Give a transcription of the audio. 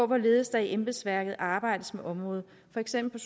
hvorledes der i embedsværket arbejdes med området for eksempel